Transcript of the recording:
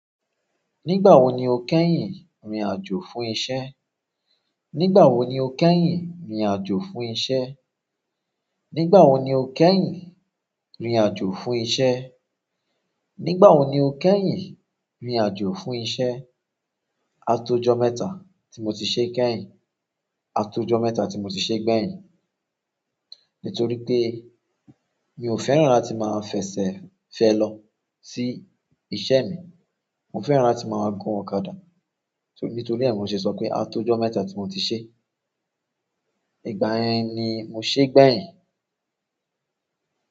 Nígbà wo ni o kẹ́yìn ni ajo fún iṣẹ́? Nígbà wo ni o kẹ́yìn rìnrìn àjò fún iṣẹ́? Nígbà wo ni o kẹ́yìn rìnrìn àjò fún iṣẹ́? Nígbà wo ni o kẹ́yìn rìnrìn àjò fún iṣẹ́? A tó jọ mẹ́ta tí mo ti ṣe kẹ́yìn. A tó jọ mẹ́ta tí mo ti ṣe gbẹ́yìn. Nitoripe, mi o fẹ́ràn láti ma fese felo si iṣẹ́ mi mo fẹ́ràn láti máa gun ọ̀kadà. Nítorí e ni mo ṣe sọ pé a tó jọ mẹ́ta tí mo ti ṣe. Ìgbà yen ni mo ṣe gbẹ́yìn?